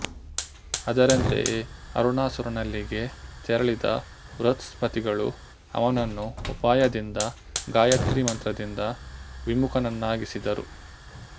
ಅದರಂತೆಯೇ ಅರುಣಾಸುರನಲ್ಲಿಗೆ ತೆರಳಿದ ಬೃಹಸ್ಪತಿಗಳು ಅವನನ್ನು ಉಪಾಯದಿಂದ ಗಾಯತ್ರೀ ಮಂತ್ರದಿಂದ ವಿಮುಖನನ್ನಾಗಿಸಿದರು